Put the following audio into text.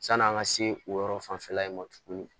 San'an ka se o yɔrɔ fanfɛla in ma tugun